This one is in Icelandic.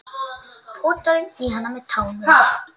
Potaði í hann með tánum.